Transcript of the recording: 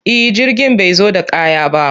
E, jirgin bai zo da kaya ba.